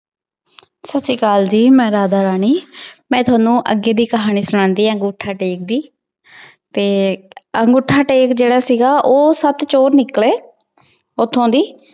ਸਾਸਰੀਕਾਲ ਜੀ ਮੈਂ ਰਾਧਾ ਰਾਨੀ ਮੈਂ ਤੁਹਾਨੂ ਆਜ ਏਡੀ ਕਹਾਨੀ ਸੁਣਾਂਦੀ ਆਂ ਅਨ੍ਗੋਥਾ ਦੀਨ ਦੀ ਤੇ ਨਾਗੋਥਾ ਟੇਕ ਜੇਰਾ ਸੀਗਾ ਊ ਸਪ ਚੋਰ ਨਿਕਲੀ ਓਥੋਂ ਦੀ